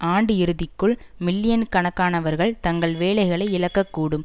ஆண்டு இறுதிக்குள் மில்லியன் கணக்கானவர்கள் தங்கள் வேலைகளை இழக்கக்கூடும்